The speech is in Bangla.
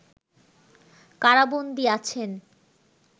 কারাবন্দী আছেন